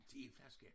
Til én flaske?